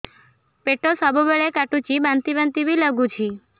ପେଟ ସବୁବେଳେ କାଟୁଚି ବାନ୍ତି ବାନ୍ତି ବି ଲାଗୁଛି